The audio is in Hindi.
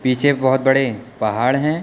पीछे बहुत बड़े पहाड़ हैं।